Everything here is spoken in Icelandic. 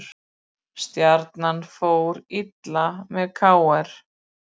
Stjarnan fór illa með KR